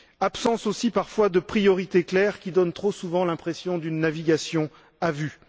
l'absence aussi, parfois, de priorité claires qui donnent trop souvent l'impression d'une navigation à vue.